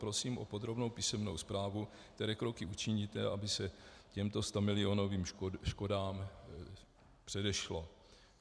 Prosím o podrobnou písemnou zprávu, které kroky učiníte, aby se těmto stamilionovým škodám předešlo.